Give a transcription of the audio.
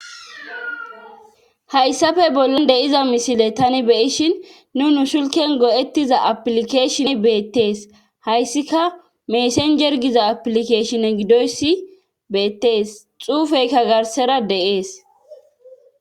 hayssafe bollan de7iza misile tani beyishin nu nu shilken go7ettiza aplikeshin beettees hayssika meesenjergiza aplikeshin gidoyssi beettees xuufeykka garsera de7ees